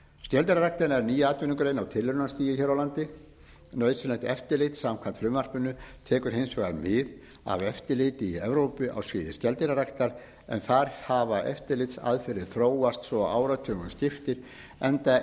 skeldýrarækt er ný atvinnugrein á tilraunastigi hér á landi nauðsynlegt eftirlit samkvæmt frumvarpinu tekur hins vegar við af eftirliti í evrópu á sviði skeldýraræktar en þar hafa eftirlitsaðferðir þróast svo áratugum skiptir enda